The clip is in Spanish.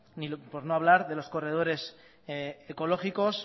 por no hablar de los corredores ecológicos